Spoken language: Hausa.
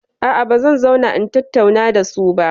A'a, ba zan zauna in tattauna da su ba.